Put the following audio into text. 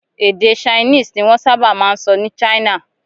Èdè Chinese ni wọ́n sábà máa ń sọ ní China.